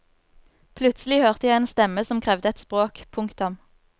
Plutselig hørte jeg en stemme som krevde et språk. punktum